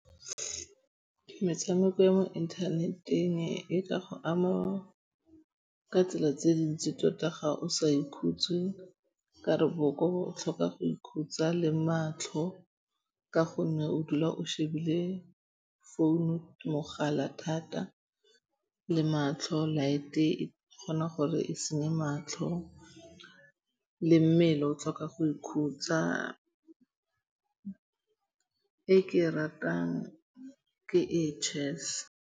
Metshameko ya mo internet-eng e ka go ama ka tsela tse dintsi tota ga o sa ikhutse ka 're boboko bo tlhoka go ikhutsa le matlho ka gonne o dula o shebile founu, mogala thata le matlho. Light e kgona gore e senye matlho le mmele. O tlhoka go ikhutsa. E ke e ratang ke e chess.